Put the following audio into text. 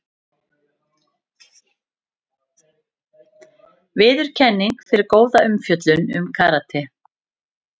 Viðurkenning fyrir góða umfjöllun um karate